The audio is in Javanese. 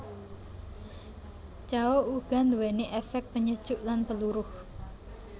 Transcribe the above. Cao uga nduwéni éfék penyejuk lan peluruh